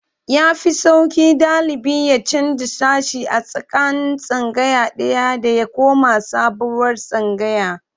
Ya fi sauƙi ɗalibi ya canja sashe a tsakanin tsangaya ɗaya da ya koma sabuwar tsangaya.